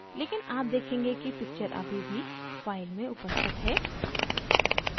लेकिन आप देखेंगे कि picture अभी भी फाइल में उपस्थित है